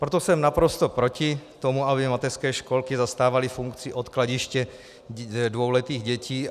Proto jsem naprosto proti tomu, aby mateřské školky zastávaly funkci odkladiště dvouletých dětí.